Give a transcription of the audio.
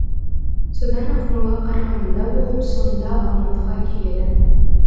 содан ақмола қарағандыда болып соңында алматыға келеді